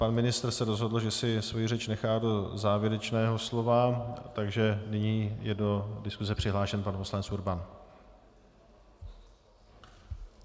Pan ministr se rozhodl, že si svoji řeč nechá do závěrečného slova, takže nyní je do diskuse přihlášen pan poslanec Urban.